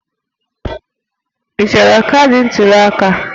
Ị chọrọ kaadị ntuli aka?